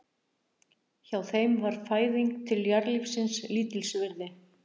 Hjá þeim var fæðing til jarðlífsins lítils virði.